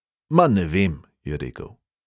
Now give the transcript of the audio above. Ma, ne vem," je rekel.